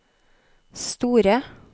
store